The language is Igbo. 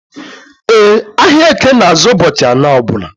E, ahịa eke na azụ ụbọchị anọ ọbula